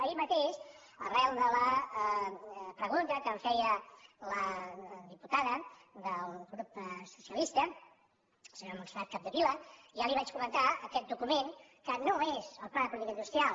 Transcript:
ahir mateix arran de la pregunta que em feia la diputada del grup socialista la senyora montserrat capdevila ja li vaig comentar que aquest document no és el pla de política industri·al